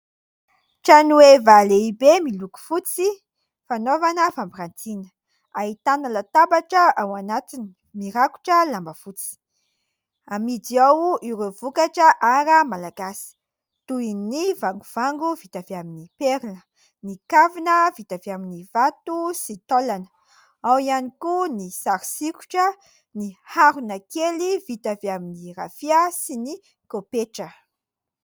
Trano heva lehibe miloko fotsy, fanaovana fampirantina. Ahitana latabatra ao anatiny, mirakotra lamba fotsy. Amidy ao ireo vokatra"art" malagasy toy : ny vangovango vita avy amin'ny perla, ny kavina vita avy amin'ny vato sy taolana, ao ihany koa ny sary sokitra, ny harona kely vita avy amin'ny rafia sy ny pôketra.